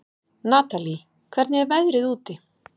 Natalí, hvernig er veðrið úti?